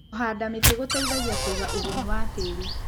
Kũhanda mĩti gũteithagia kũiga ũgunyu wa tĩri.